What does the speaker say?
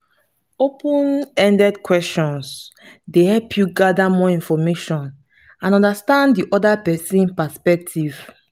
open-ended questions dey help you gather more information and understand di oda pesin's perspective.